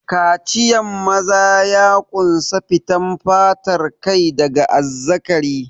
Kaciyan maza ya ƙunsa fitan fatar kai daga azzakari.